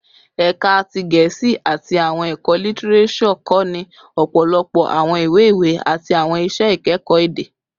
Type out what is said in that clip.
Ẹka ti Gẹẹsi ati Awọn ẹkọ Litireso kọni ọpọlọpọ awọn iwe-iwe ati awọn iṣẹ ikẹkọ ede